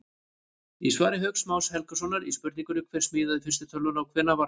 Í svari Hauks Más Helgasonar við spurningunni Hver smíðaði fyrstu tölvuna og hvenær var það?